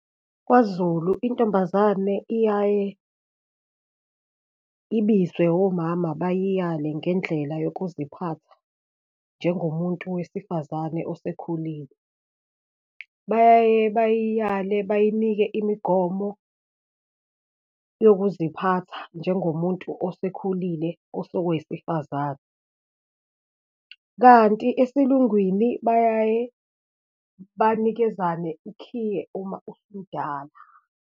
KwaZulu intombazane iyaye ibizwe womama, bayiyale ngendlela yokuziphatha, njengomuntu wesifazane osekhulile. Bayaye bayiyale bayinike imigomo yokuziphatha, njengomuntu osekhulile osekuwowesifazane, kanti esiLungwini bayaye banikezana ukhiye, uma usumdala.